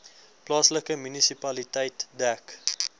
plaaslike munisipaliteit dek